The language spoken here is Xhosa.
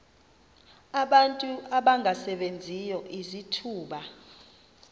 abantu abangasebenziyo izithuba